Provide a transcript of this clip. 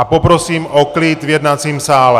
A poprosím o klid v jednacím sále!